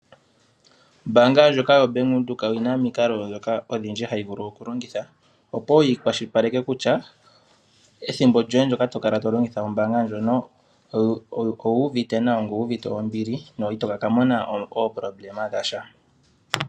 Ombanga ndjoka yoBank windhoek oyina omikalo odhindji dhoka hayi vulu oku longitha opoyi kwashilipaleke kutya ethimbo lyoye ndyoka tokala tolongitha ombanga lyono owu uvite nawa nowu uvite ombili, itoka mona uudhigu wa sha.